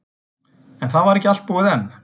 En það var ekki allt búið enn.